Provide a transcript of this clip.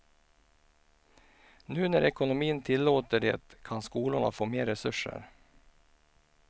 Nu när ekonomin tillåter det kan skolorna få mer resurser.